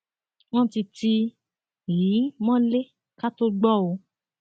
wọn ti tì í mọlẹ ká tóó gbọ ọ